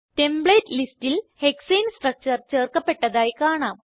template ലിസ്റ്റിൽ ഹെക്സാനെ structure ചേർക്കപ്പെട്ടതായി കാണാം